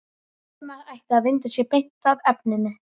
Valdimar ætti að vinda sér beint að efninu.